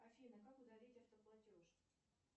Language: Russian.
афина как удалить автоплатеж